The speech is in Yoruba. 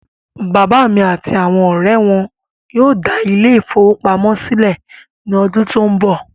Bàbá mí àti àwọn ọrẹ wọn yóò dá ile-ìfowópamó sílẹ̀ ní ọdún tó n bọ̀